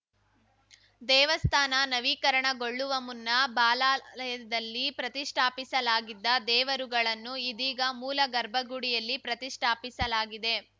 ದೇವಸ್ಥಾನ ನವೀಕರಣಗೊಳ್ಳುವ ಮುನ್ನ ಬಾಲಾಲಯದಲ್ಲಿ ಪ್ರತಿಷ್ಠಾಪಿಸಲಾಗಿದ್ದ ದೇವರುಗಳನ್ನು ಇದೀಗ ಮೂಲ ಗರ್ಭಗುಡಿಯಲ್ಲಿ ಪ್ರತಿಷ್ಠಾಪಿಸಲಾಗಿದೆ